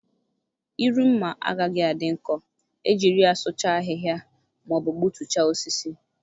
Iru mma agaghị adị nkọ e jiri ya sụchaa ahịhịa ma ọ bụ gbutuchaa osisi.